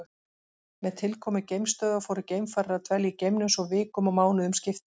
Með tilkomu geimstöðva fóru geimfarar að dvelja í geimnum svo vikum og mánuðum skipti.